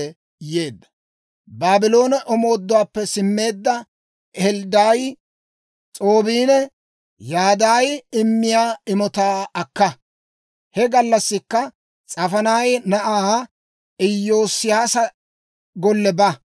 «Baabloone omooduwaappe simmeedda Helddaayi, S'oobbiinne Yadaayi immiyaa imotaa akka; he gallassikka S'afaaniyaa na'aa Iyoosiyaasa golle ba.